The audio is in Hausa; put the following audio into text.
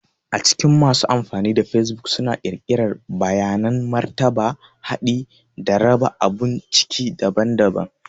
A cikin masu amfani da facebook suna ƙirƙirar bayanan martaba, haɗi, da raba abun ciki daban-daban.